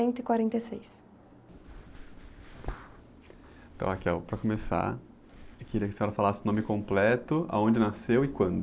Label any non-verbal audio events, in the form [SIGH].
cento e quarenta e seis.ntão, [UNINTELLIGIBLE] para começar, eu queria que a senhora falasse o nome completo, aonde nasceu e quando.